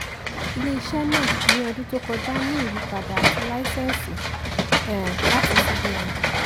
um ilé-iṣẹ́ náà ní ọdún tó kọjá ní ìyípadà àti láísẹ̀nsì um láti cbn